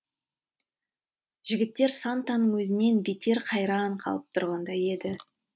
жігіттер сантаның өзінен бетер қайран қалып тұрғандай еді